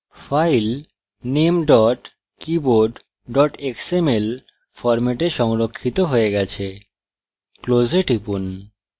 file name keyboard xml ফরম্যাটে সংরক্ষিত হয়ে গেছে close এ টিপুন